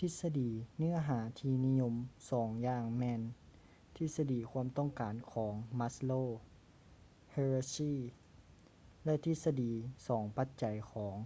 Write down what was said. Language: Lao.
ທິດສະດີເນື້ອຫາທີ່ນິຍົມສອງຢ່າງແມ່ນທິດສະດີຄວາມຕ້ອງການຂອງ maslow's hierarchy ແລະ ທິດສະດີສອງປັດໄຈຂອງ